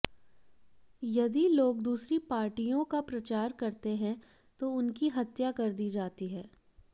यदि लोग दूसरी पार्टियों का प्रचार करते हैं तो उनकी हत्या कर दी जाती है